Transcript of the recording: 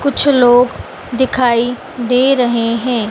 कुछ लोग दिखाई दे रहे हैं।